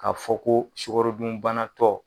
K'a fɔ ko sukarodunbanatɔ